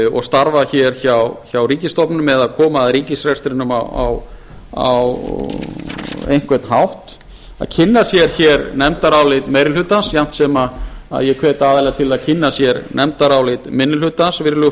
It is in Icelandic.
og starfa hér hjá ríkisstofnunum eða koma að ríkisrekstrinum á einhvern hátt að kynna sér hér nefndarálit meiri hlutans jafnt sem ég hvet aðila til að kynna sér nefndaráliti minni hlutans virðulegi